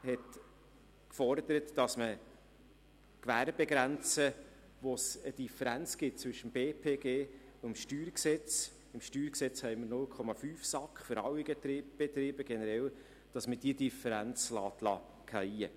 Dieser forderte, dass man die Gewerbegrenze, wo es eine Differenz zwischen dem BPG und dem StG gibt – im StG haben wir generell 0,5 SAK für alle Betriebe – diese Differenz fallen lässt.